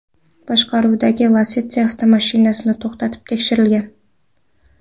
boshqaruvidagi Lacetti avtomashinasi to‘xtatib tekshirilgan.